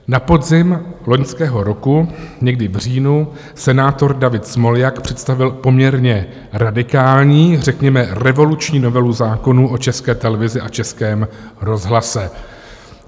Na podzim loňského roku, někdy v říjnu, senátor David Smoljak představil poměrně radikální, řekněme revoluční, novelu zákonu o České televizi a Českém rozhlase.